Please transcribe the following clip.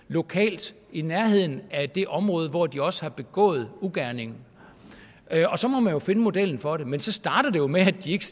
lokalt i nærheden af det område hvor de også har begået ugerningen og så må man jo finde modellen for det men så starter det jo med at de ikke